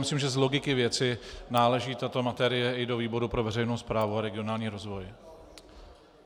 Myslím, že z logiky věci náleží tato materie i do výboru pro veřejnou správu a regionální rozvoj.